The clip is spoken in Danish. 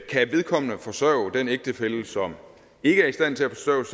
kan vedkommende forsørge den ægtefælle som ikke er i stand til at forsørge